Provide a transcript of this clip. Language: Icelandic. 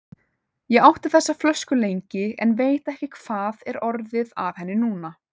Ég átti þessa flösku lengi, en veit ekki hvað er orðið af henni núna.